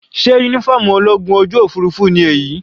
Sé uniform ológun ojú òfurufú ni èyí?